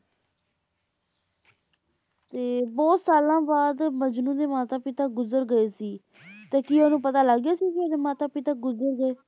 ਤੇ ਬਹੁਤ ਸਾਲਾਂ ਬਾਅਦ ਮਜਨੂੰ ਦੇ ਮਾਤਾ ਪਿਤਾ ਗੁਜਰ ਗਏ ਸੀ ਤੇ ਕੀ ਉਹਨੂੰ ਪਤਾ ਲੱਗ ਗਿਆ ਸੀ ਕੇ ਉਹਦੇ ਮਾਤਾ ਪਿਤਾ ਗੁਜਰ ਗਏ